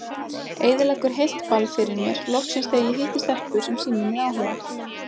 Eyðileggur heilt ball fyrir mér loksins þegar ég hitti stelpu sem sýnir mér áhuga